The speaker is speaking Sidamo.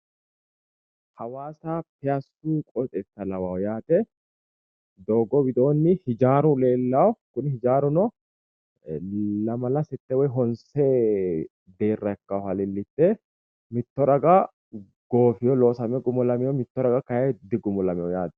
Hawaasa piyaassu qoxeessa lawayo yaate doogo widoonni hijaaru leellawo kuni hijaaruno lamala sette woy honse deerra ikkaaha leellishshe mitto raga goofeyo loosame gumulameyo mitto raga kayeenni digumulameyo yaate